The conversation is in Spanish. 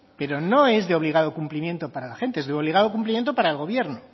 pero no es de obligado cumplimiento para la gente es de obligado cumplimiento para el gobierno